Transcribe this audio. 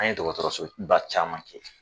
An ye dɔgɔtɔrɔso ba caman Kɛ.